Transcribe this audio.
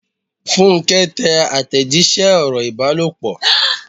Funke ń tẹ àtẹ̀jíṣẹ́ ọ̀rọ̀ ìbálòpọ̀.